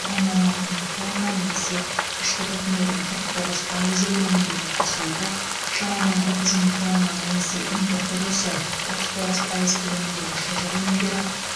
оннан алты мың тонна немесе ішкі тұтынудың қырық тоғыз пайызы көлеміндегі құс еті шамамен отыз мың тонна немесе импорт үлесі отыз тоғыз пайыз көлеміндегі шұжық өнімдері